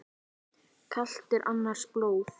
Kalt er annars blóð.